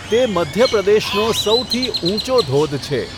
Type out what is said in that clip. તે મધ્યપ્રદેશનો સૌથી ઊંચો ધોધ છે.